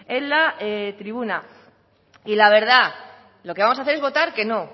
en la tribuna y la verdad lo que vamos a hacer es votar que no